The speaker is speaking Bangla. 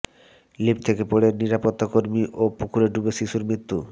লিফট থেকে পড়ে নিরাপত্তাকর্মী ও পুকুরে ডুবে শিশুর মৃত্যু